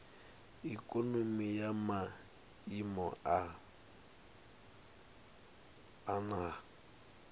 ikonomi ya maiimo a nha